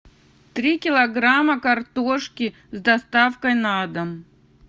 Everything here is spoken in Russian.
три килограмма картошки с доставкой на дом